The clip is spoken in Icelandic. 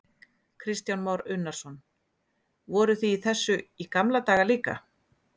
Kristján Már Unnarsson: Voruð þið í þessu í gamla daga líka?